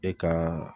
E ka